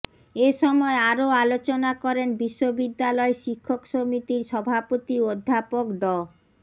এ সময় আরো আলোচনা করেন বিশ্ববিদ্যালয় শিক্ষক সমিতির সভাপতি অধ্যাপক ড